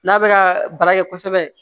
N'a bɛ ka baara kɛ kosɛbɛ